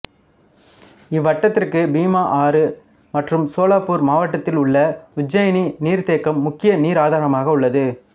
இவ்வட்டத்திற்கு பீமா ஆறு மற்றும் சோலாப்பூர் மாவட்டத்தில் உள்ள உஜ்ஜானி நீர்த்தேக்கம் முக்கிய நீர் ஆதாரமாக உள்ளது